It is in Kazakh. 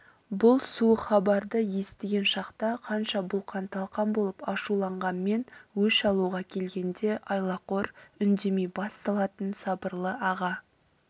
бұл суық хабарды естіген шақта қанша бұлқан-талқан болып ашуланғанмен өш алуға келгенде айлақор үндемей бас салатын сабырлы аға